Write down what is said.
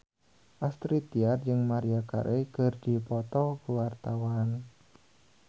Astrid Tiar jeung Maria Carey keur dipoto ku wartawan